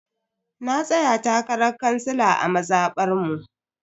Na tsaya takarar kansila a mazabar mu.